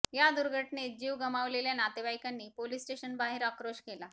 या दुर्घटनेत जीव गमावलेल्या नातेवाईकांनी पोलीस स्टेशनबाहेर आक्रोश केला